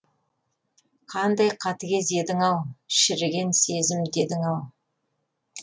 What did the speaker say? қандай қатыгез едің ау шіріген сезім дедің ау